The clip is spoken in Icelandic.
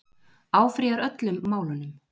Áfrýjar öllum málunum